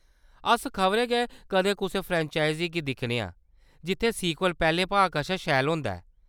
अस खबरै गै कदें कुसै फ्रैंचाइज़ी गी दिक्खने आं जित्थै सीक्वल पैह्‌‌‌लें भाग कशा शैल होंदा ऐ।